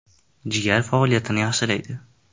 Jigar faoliyatini yaxshilaydi.